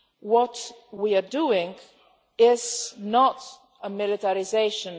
What we are doing is not militarisation